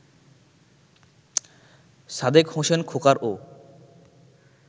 Sadek Hossain খোকারও